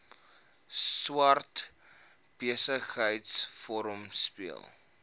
swart besigheidsforum speel